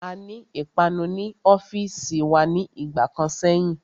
Aní ìpanu ní ọ́fìsì wa ní ìgbà kan sẹ́yìn.